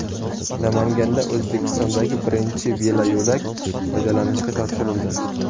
Namanganda O‘zbekistondagi birinchi veloyo‘lak foydalanishga topshirildi.